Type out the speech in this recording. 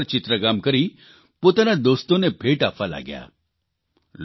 તેઓ આ પથ્થરો પર ચિત્રકામ કરી પોતાના દોસ્તોને ભેટ આપવા લાગ્યા